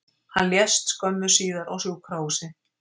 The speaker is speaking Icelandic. Hann lést skömmu síðar á sjúkrahúsi